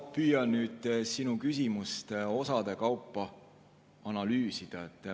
Ma püüan nüüd sinu küsimust osade kaupa analüüsida.